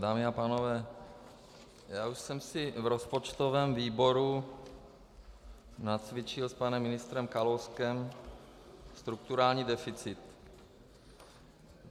Dámy a pánové, já už jsem si v rozpočtovém výboru nacvičil s panem ministrem Kalouskem strukturální deficit.